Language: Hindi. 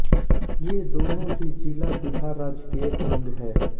ये दोनों ही जिला बिहार राज्य के अंग हैं